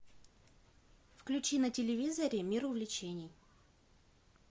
включи на телевизоре мир увлечений